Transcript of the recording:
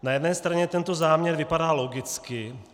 Na jedné straně tento záměr vypadá logicky.